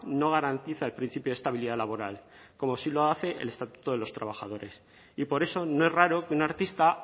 no garantiza el principio de estabilidad laboral como sí lo hace el estatuto de los trabajadores y por eso no es raro que un artista